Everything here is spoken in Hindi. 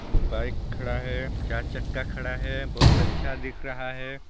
बाइक खड़ा हैं चार चक्का खड़ा हैं बहुत अच्छा दिख़ रहा हैं।